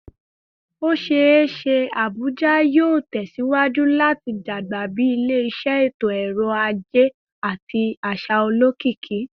O ṣee ṣe Abuja yoo tẹsiwaju lati dagba bi ile-iṣẹ eto-ọrọ aje ati aṣa olokiki